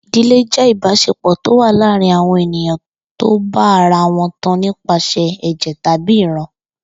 I̩dilé jé̩ ìbás̩epò̩ tó wà láàárín àwo̩n ènìyàn tó bá ara wo̩n tan nípa sè̩ è̩jè̩ tàbí ìran